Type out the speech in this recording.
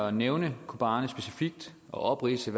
at nævne kobane specifikt og opridse